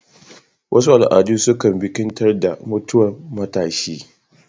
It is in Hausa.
Wasu al'adu sukan bikintar da mutwan matshi